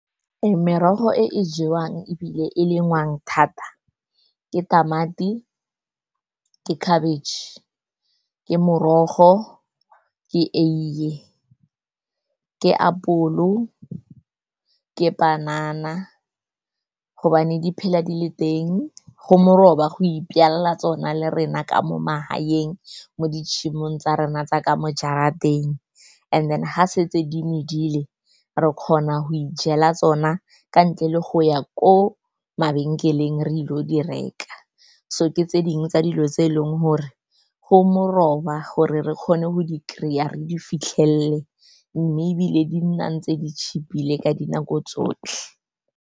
Merogo e e jewang ebile e lengwang thata ke tamati, ke khabitšhe, ke morogo, ke eiye, ke apolo, ke panana gobane di phela di le teng, go moroba go ijala tsona le rena ka mo magaeng, mo ditshemong tsa rona tsaka mo jarateng. And then ga se tse di medile, re kgona go ijela tsona ka ntle le go ya ko mabenkeleng re ile go di reka. So ke tse dingwe tsa dilo tse eleng gore go moroba gore re kgone go di kry-a, re di fitlhelele, mme ebile di nnang tse di cheap-ile ka dinako tsotlhe.